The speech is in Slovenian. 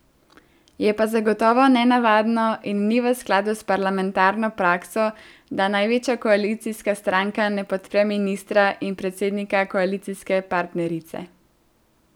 Je pa zagotovo nenavadno in ni v skladu s parlamentarno prakso, da največja koalicijska stranka ne podpre ministra in predsednika koalicijske partnerice.